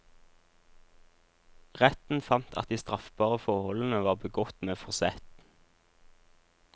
Retten fant at de straffbare forholdene var begått med forsett.